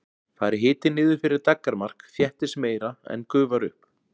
Fari hiti niður fyrir daggarmark þéttist meira en gufar upp.